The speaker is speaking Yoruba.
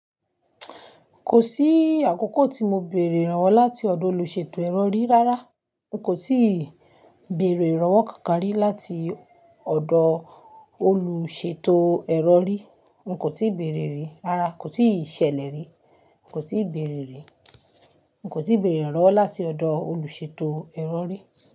Kò sí àkókò tí mo bèrè irànwọ́ láti ọ̀dọ̀ olùṣètò ẹrọ̀ rí rárá. N kò tíì bèrè ìrànwọ́ kankan rí láti ọ̀dọ̀ olùṣètò ẹrọ̀ rí. N kò tíì bèrè rí, rárá kò tíì ṣẹlẹ̀ rí. Nko tíì bèrè rí. N kò tíì bèrè ìrànwọ́ láti ọ̀dọ̀ olùṣètò ẹrọ̀ rí.